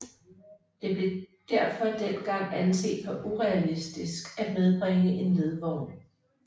Det blev derfor dengang anset for urealistisk at hjembringe en ledvogn